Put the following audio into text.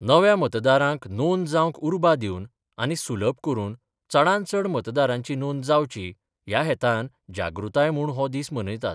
नव्या मतदारांक नोंद जावंक उर्बा दिवन आनी सुलभ करून चडांत चड मतदारांची नोंद जावची, या हेतान जागृताय म्हूण हो दीस मनयतात.